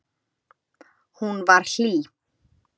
Hún var hlý.